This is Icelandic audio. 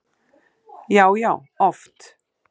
Já, já oft.